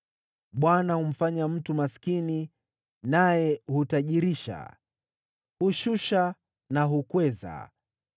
Bwana humfanya mtu maskini naye hutajirisha, hushusha na hukweza.